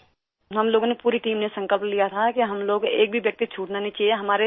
ہم لوگوں نے، پوری ٹیم نے، عہد کیا تھا کہ ہم لوگوں سے ایک آدمی بھی نہیں چھوٹنا چاہیے